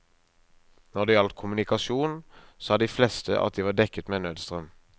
Når det gjaldt kommunikasjon, sa de fleste at de var dekket med nødstrøm.